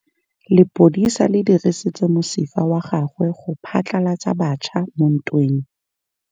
Lepodisa le dirisitse mosifa wa gagwe go phatlalatsa batšha mo ntweng.